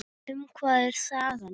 Um hvað er sagan?